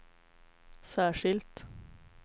särskilt